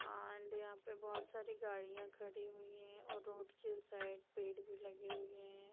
And यहां पे बहुत सारी गाड़ियाँ खड़ी हुई है और रोड के उस साइड पेड़ भी लगे हुए है।